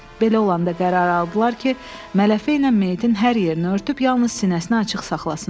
Belə olanda qərar aldılar ki, mələfə ilə meyitin hər yerini örtüb yalnız sinəsini açıq saxlasınlar.